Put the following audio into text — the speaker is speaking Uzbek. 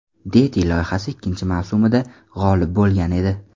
Deti” loyihasi ikkinchi mavsumida g‘olib bo‘lgan edi.